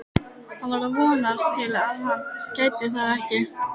Hann var að vonast til að hann gæti það ekki.